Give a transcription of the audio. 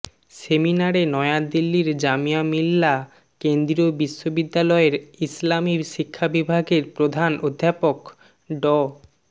সেমিনারে নয়া দিল্লীর জামিয়া মিল্লা কেন্দ্রীয় বিশ্ববিদ্যালয়ের ইসলামী শিক্ষা বিভাগের প্রধান অধ্যাপক ড